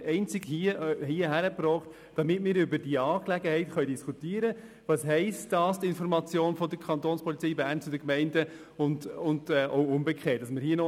Ich habe ihn einzig vorgelegt, damit der Rat über diese Angelegenheit diskutieren kann und darüber, was Information der Kantonspolizei Bern an die Gemeinden und umgekehrt heisst.